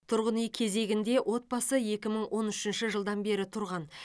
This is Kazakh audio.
тұрғын үй кезегінде отбасы екі мың он үшінші жылдан бері тұрған